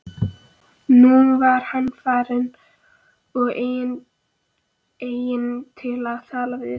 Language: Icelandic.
Nú var hann farinn og enginn til að tala við.